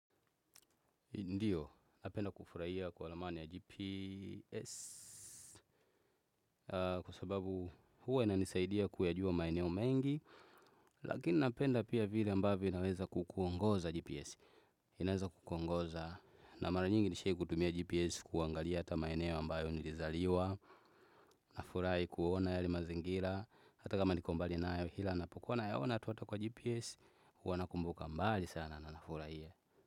Ndiyo, napenda kufurahia kwa ramani ya GPS kwa sababu huwa inanisaidia kuyajua maeneo mengi lakini napenda pia vile ambavyo naweza kukuongoza GPS inaweza kukuongoza na mara nyingi nishai kutumia GPS kuangalia hata maeneo ambayo nilizaliwa nafurahi kuona yale mazingira hata kama niko mbali nayo kila napokuwa nayaona tu ata kwa GPS huwa nakumbuka mbali sana na nafurahia.